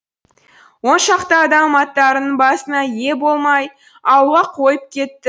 он шақты адам аттарының басына ие бола алмай ауылға қойып кетті